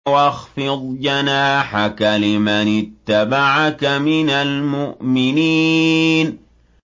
وَاخْفِضْ جَنَاحَكَ لِمَنِ اتَّبَعَكَ مِنَ الْمُؤْمِنِينَ